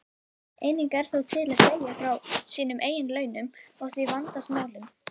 Enginn er þó til í að segja frá sínum eigin launum og því vandast málin.